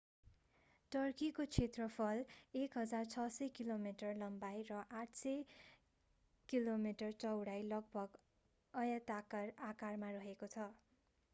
टर्कीको क्षेत्रफल 1,600 kilometre 1,000 mile लम्बाई र 800 किमि 500 माइल चौडाई लगभग आयताकार आकारमा रहेको छ।